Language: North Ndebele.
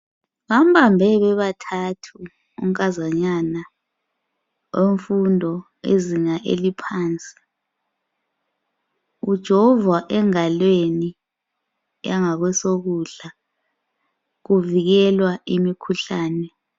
Bambambe bebathathu unkazanyana wemfundo izinga eliphansi ujovwa engalweni yangasokudla kuvikelwa imikhuhlane.